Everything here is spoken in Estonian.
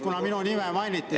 Kuna minu nime mainiti, siis ...